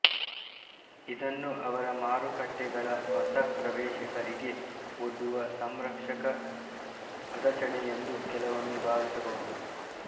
ಇದನ್ನು ಅವರ ಮಾರುಕಟ್ಟೆಗಳ ಹೊಸ ಪ್ರವೇಶಕರಿಗೆ ಒಡ್ಡುವ ಸಂರಕ್ಷಕ ಅದಚಣೆಯೆಂದು ಕೆಲವೊಮ್ಮೆ ಭಾವಿಸಬಹುದು